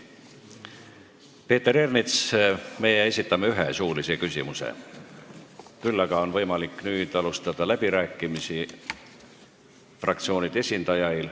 Peeter Ernits, esitada saab ühe suulise küsimuse, küll aga on fraktsioonide esindajail nüüd võimalik alustada läbirääkimisi.